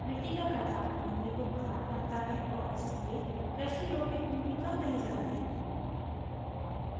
मिट्टी का कटाव भूमि को ख़राब करता है और इसलिए कृषि योग्य भूमि कम रह जाती है